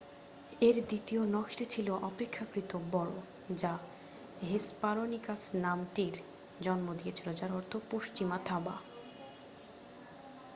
"এর দ্বিতীয় নখটি ছিল অপেক্ষাকৃত বড় যা হেসপারোনিকাস নামটির জন্ম দিয়েছিল যার অর্থ "পশ্চিমা থাবা।""